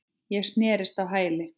Ég snerist á hæli.